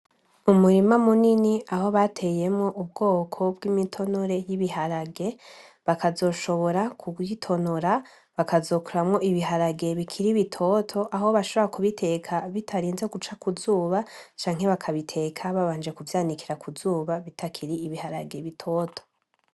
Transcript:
Umurima munini aho bateyemwo ubwoko bw'imitonore y'ibiharage, bakazoshobora kubitonora bakazokuramwo ibiharage bikiri bitoto, aho bashobora kubiteka bitarinze guca kuzuba, canke bakabiteka babanje kuvyanikira kuzuba bitakiri ibiharage bitoto.